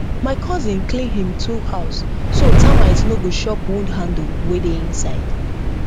my cousin clean him tool house so termite no go chop wood handle wey dey inside